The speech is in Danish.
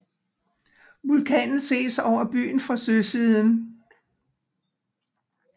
Vulkanen ses over byen fra søsiden